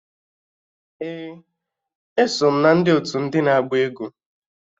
Ee, eso m na ndị otu ndị na-agba egwu